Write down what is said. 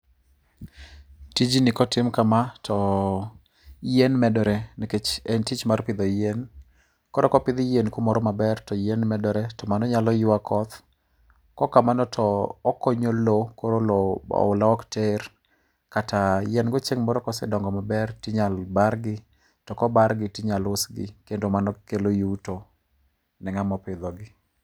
Tijni kotim kama to yien medore nikech en tich mar pidho yien. Koro kopidh yien kumoro maber to yien medore to mano nyalo ywa koth. Kok kamano to okonyo lo koro lo oula ok ter kata yien go chieng' moro kosedongo maber tinyal bar gi to kobargi tinyalo usgi to mano kelo yuto ne ng'a ma opidho gi.